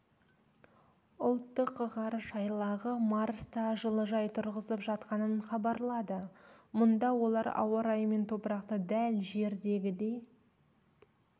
ұлттық ғарыш айлағы марста жылыжай тұрғызып жатқанын хабарлады мұнда олар ауа райы мен топырақты дәл жердегідей